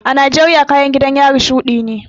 A Najeriya kayan gidan yari shuɗi ne